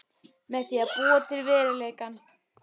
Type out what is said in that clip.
Með því að búa til veruleikann.